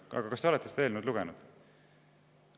Aga kas te olete seda eelnõu lugenud?